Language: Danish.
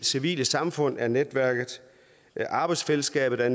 civile samfund er et netværk arbejdsfællesskabet er